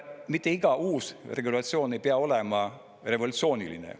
Mitte iga uus regulatsioon ei pea olema revolutsiooniline.